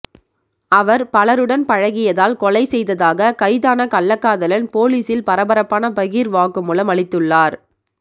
அவர் பலருடன் பழகியதால் கொலை செய்ததாக கைதான கள்ளக்காதலன் போலீசில் பரபரப்பான பகீர் வாக்குமூலம் அளித்துள்ளார்